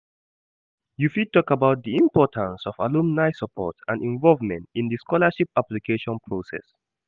You fit talk about di importance of alumni support and involvement in di scholarship application process.